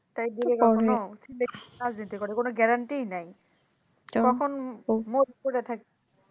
তাই রাজনীতি করে কোনো গ্যারান্টিই নাই কখন মরে পরে থাকে